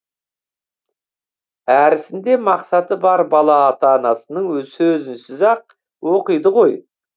әрісінде мақсаты бар бала ата анасының сөзінсіз ақ оқиды ғой